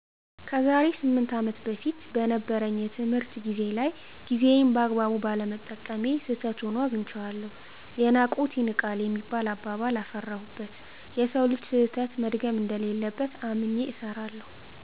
ከዛሬ ስምንት አመት በፊት በነበረኝ የትምሕርት ጊዜ ላይ ጊዜየን በአግባቡ ባለመጠቀሜ ስህተት ሆኖ አግንቸዋለሁ። የናቁት ይንቃል የሚባል አባባል አፈራሁበት። የሠው ልጅ ሰሕተት መድገም እንደሌለበት አምኘ እሰራለሁ።